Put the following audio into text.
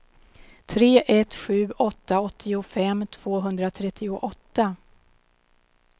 tre ett sju åtta åttiofem tvåhundratrettioåtta